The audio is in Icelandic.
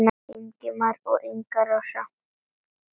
Ingimar og Inga Rósa.